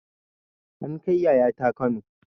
An kai yayata kano